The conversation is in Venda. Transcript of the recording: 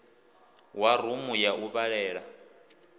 wa rumu ya u vhalela